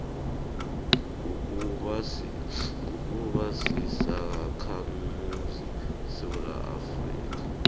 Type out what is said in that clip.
kukuba sisakhamuzi sesewula